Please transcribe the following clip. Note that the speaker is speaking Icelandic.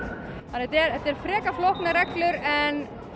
þannig þetta eru frekar flóknar reglur en